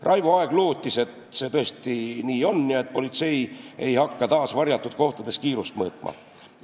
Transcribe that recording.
Raivo Aeg lootis, et see tõesti nii on ja politsei ei hakka taas varjatud kohtades kiirust mõõtma.